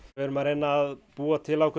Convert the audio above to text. erum að reyna að búa til ákveðna